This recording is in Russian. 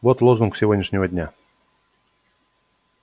вот лозунг сегодняшнего дня